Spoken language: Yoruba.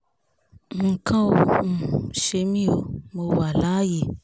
nǹkan ò um ṣe mí o mọ́ wa láàyè